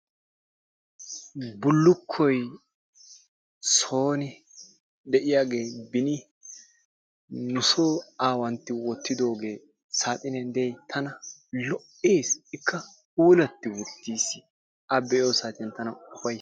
Bullukkoy sooni de'iyage beni nusoo aawantti wottidoogee saaxiniyan des tana lo'ees ikka puulatti uttis a be'iyo saatiyan tana ufay..